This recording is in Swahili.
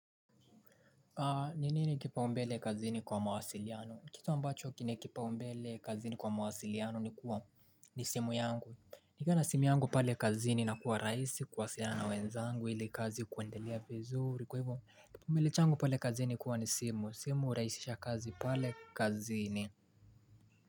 Ni nini kipaumbele kazini kwa mawasiliano? Kitu ambacho kina kipaumbele kazini kwa mawasiliano ni simu yangu? Nikiwa na simu yangu pale kazini inakuwa rahisi kuwasiliana na wenzangu ili kazi kuendelea vizuri. Kwa hivyo, kipaumbele changu pale kazini hukuwa ni simu. Simu hurahisisha kazi pale kazini?